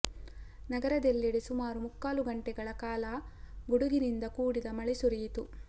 ನಗರದೆಲ್ಲೆಡೆ ಸುಮಾರು ಮುಕ್ಕಾಲು ಗಂಟೆಗಳ ಕಾಲ ಗುಡುಗಿನಿಂದ ಕೂಡಿದ ಮಳೆ ಸುರಿಯಿತು